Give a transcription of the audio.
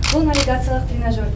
бұл навигациялық тренажер